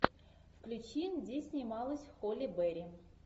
включи где снималась холли берри